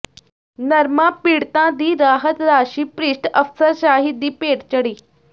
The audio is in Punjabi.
ਨਰਮਾ ਪੀਡ਼ਤਾਂ ਦੀ ਰਾਹਤ ਰਾਸ਼ੀ ਭ੍ਰਿਸ਼ਟ ਅਫ਼ਸਰਸ਼ਾਹੀ ਦੀ ਭੇਟ ਚੜ੍ਹੀ